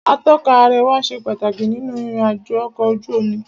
Atọ́ka àríwá ṣe pàtàkì nínú ìrìn àjò ọ̀kọ̀ ojú omi.